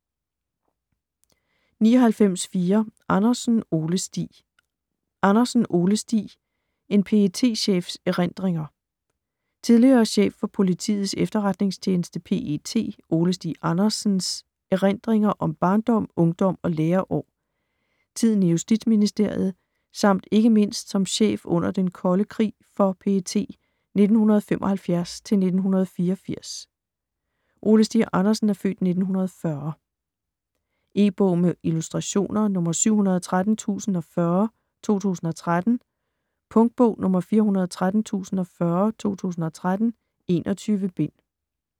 99.4 Andersen, Ole Stig Andersen, Ole Stig: En PET-chefs erindringer Tidligere chef for Politiets Efterretningstjeneste ( PET) Ole Stig Andersens (f. 1940) erindringer om barndom, ungdom og læreår, tiden i justitsministeriet samt ikke mindst som chef under den kolde krig for PET 1975-1984. E-bog med illustrationer 713040 2013. Punktbog 413040 2013. 21 bind.